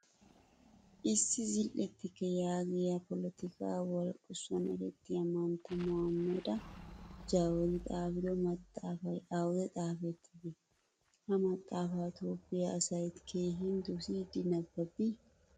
Issi zil'ettike yaagiyaa polotikka walqisuwan erettiyaa mantta maohameda jawari xaafido maxaafaay awude xaafettide? Ha maxaafaa toophphiyaa asay keehin dosidi nabbabbi?